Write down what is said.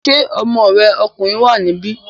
Ṣé ọmọ rẹ̀ ọkùnrin wà níbí?